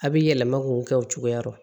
A bɛ yɛlɛma k'o kɛ o cogoya la